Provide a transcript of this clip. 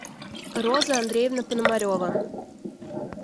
роза андреевна пономарева